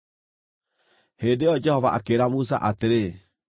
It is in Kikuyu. Hĩndĩ ĩyo Jehova akĩĩra Musa atĩrĩ,